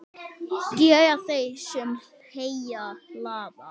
Gera þeir, sem heyi hlaða.